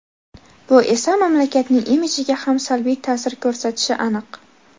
Bu esa mamlakatning imidjiga ham salbiy ta’sir ko‘rsatishi aniq.